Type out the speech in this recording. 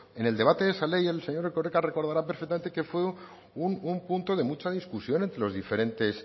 en el debate de esa ley el señor erkoreka recordará perfectamente que fue un punto de mucha discusión entre los diferentes